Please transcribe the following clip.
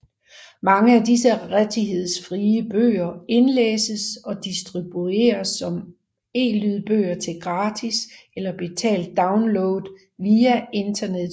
Mange af disse rettighedsfrie bøger indlæses og distribueres som elydbøger til gratis eller betalt download via internettet